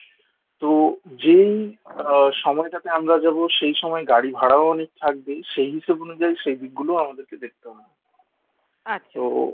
তো যেই আহ সময়টাতে আমরা যাব সেই সময় গাড়ি ভাড়াও অনেক থাকবে সেই হিসাব অনুযায়ী সেই দিক গুলো আমাদের দেখতে হবে তো